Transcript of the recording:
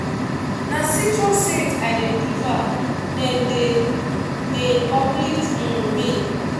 na citrus scents i dey prefer dem dey dey uplift um me.